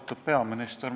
Austatud peaminister!